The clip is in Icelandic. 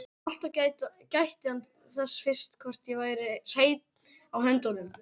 En alltaf gætti hann þess fyrst hvort ég væri hreinn á höndunum.